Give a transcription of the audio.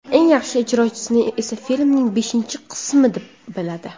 Eng yaxshi ijrosini esa filmning beshinchi qismi deb biladi.